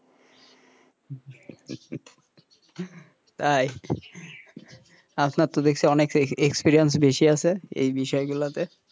তাই আপনার তো দেখছি অনেক experience বেশি আছে এই বিষয় গুলোতে,